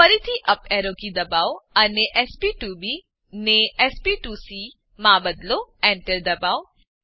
ફરીથી up arrow key દબાવો અને sp2બી ને sp2સી માં બદલો Enter દબાવો